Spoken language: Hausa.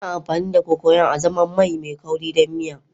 Ana amfani da Cocoyam azaman mai kauri don miya.